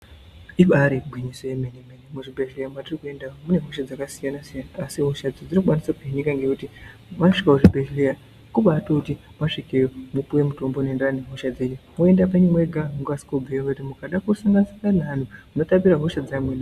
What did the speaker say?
Ibaari gwinyiso yemene-mene muzvibhedhleya mwatiri kuenda umu, mune hosha dzakasiyana-siyana asi hosha idzi dzinokwanisa kuhinika ngekuti mwasvike kuzvibhedhlera kubaatoti mwasvikeyo, mwopiwa mitombo inoenderana nehosha dzenyu moenda penyu mwega mokasike kubveyo ngekuti mukada kusangana-sangana neantu, munotambira hosha dzeamweni.